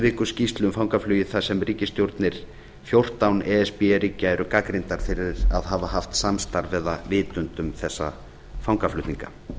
viku skýrslu um fangaflugið þar sem ríkisstjórnir fjórtán e s b ríkja er gagnrýndar fyrir að hafa haft samstarf eða vitund um þessa fangaflutninga